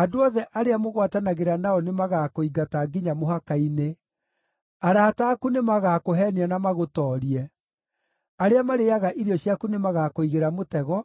Andũ othe arĩa mũgwatanagĩra nao nĩmagakũingata nginya mũhaka-inĩ; arata aku nĩmagakũheenia na magũtoorie; arĩa marĩĩaga irio ciaku nĩmagakũigĩra mũtego,